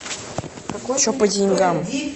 че по деньгам